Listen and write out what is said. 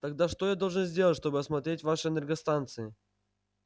тогда что я должен сделать чтобы осмотреть ваши энергостанции